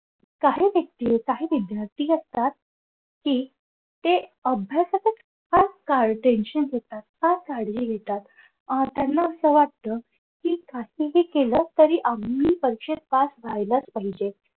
व्यक्ती काही विद्यार्थी असतात कि ते अभ्यासातच आज काळ tension घेतात फार काळजी घेतात अह त्यांना असं वाटत कि काहीही केलं तरी आम्हीही परीक्षेत पास व्हायलाच पाहिजे.